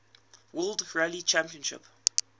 world rally championship